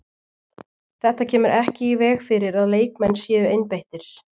Þetta kemur ekki í veg fyrir að leikmenn séu einbeittir.